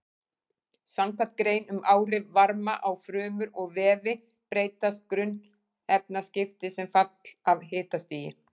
Samkvæmt grein um áhrif varma á frumur og vefi breytast grunnefnaskipti sem fall af hitastigi.